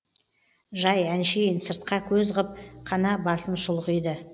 жай әншейін сыртқа көз ғып қана басын шұлғиды